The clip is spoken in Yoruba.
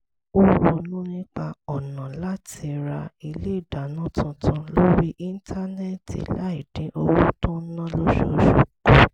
ó ronú nípa ọ̀nà láti ra ilé ìdáná tuntun lórí íńtánẹ́ẹ̀tì láì dín owó tó ń ná lóṣooṣù kù